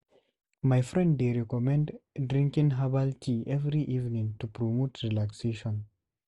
My friend dey recommend drinking herbal tea every evening to promote relaxation.